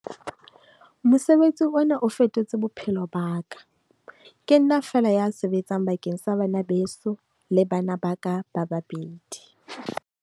"Mosebetsi ona o fetotse bophelo ba ka. Ke nna feela ya sebetsang bakeng sa bana beso le bana ba ka ba babedi."